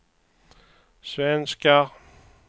svenskar